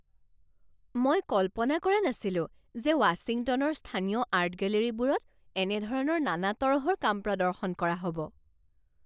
মই কল্পনা কৰা নাছিলো যে ৱাশ্বিংটনৰ স্থানীয় আৰ্ট গেলেৰীবোৰত এনে ধৰণৰ নানা তৰহৰ কাম প্ৰদৰ্শন কৰা হ'ব।